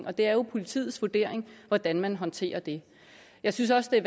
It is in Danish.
og det er jo politiets vurdering hvordan man håndterer det jeg synes også at